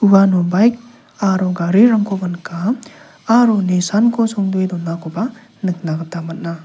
uano baik aro garirangkoba nika aro nisanko songdoe donakoba nikna gita man·a.